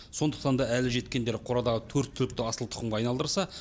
сондықтан да әлі жеткендері қорадағы төрт түлікті асыл тұқымға айналдырса